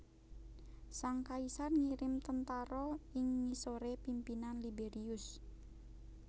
Sang kaisar ngirim tentara ing ngisoré pimpinan Liberius